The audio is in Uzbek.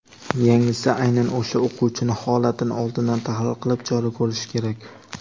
yangisi aynan o‘sha o‘quvchining holatini oldindan tahlil qilib chora ko‘rishi kerak.